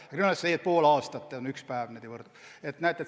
Aga kriminaalmenetluses võrdub pool aastat nagu ühe päevaga.